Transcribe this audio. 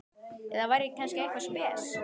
Eða var ég kannski eitthvað spes?